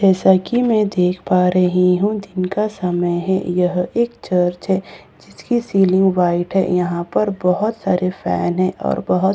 जैसा कि मैं देख पा रही हूं दिन का समय है यह एक चर्च है जिसकी सीलिंग व्हाइट है यहां पर बहुत सारे फैन है और बहुत सारे ट्यू--